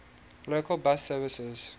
local bus services